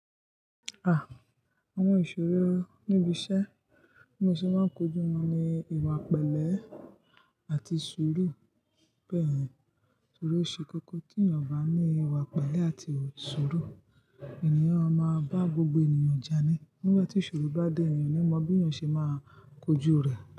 Ah! Àwọn ìṣòro níbi iṣẹ́, ènìyàn ṣe máa ń kojú wọn ní ìwà pẹ̀lẹ́ àti sùúrù. Bẹ́ẹ̀ni, torí ó ṣe kókó tí ènìyàn bá ní ìwà pẹ̀lẹ́ àti sùúrù, ènìyàn má ma bá gbogbo ènìyàn jà ní. Nígbà tí ìṣòro bá dé èyàn, oni mọ bí eyan ṣe máa kojú rẹ̀